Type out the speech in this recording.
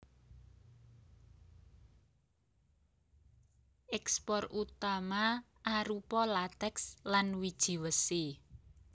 Ékspor utama arupa latèks lan wiji wesi